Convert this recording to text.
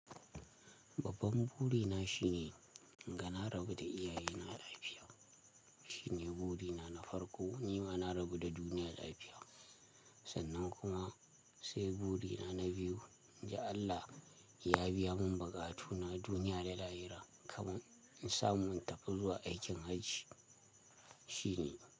Babban buri na shine in ga na rabu da iyaye na lafiya. Shi ne bubi na na farko, ni ma na rabu da duniya lafiya. Sannan kuma sai buri na na biyu, in ji Allah ya biya mun buƙatu na duniya da lahira, kaman in samu in tafi zuwa aikin hajji. Shi ne.